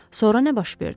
Sonra nə baş verdi?